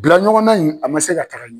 Bilaɲɔgɔnna in a ma se ka taaga ɲɛ .